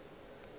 go be go ena le